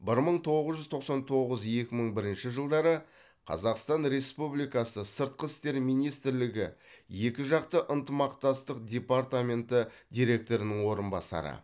бір мың тоғыз жүз тоқсан тоғыз екі мың бірінші жылдары қазақстан республикасы сыртқы істер министрлігі екіжақты ынтымақтастық департаменті директорының орынбасары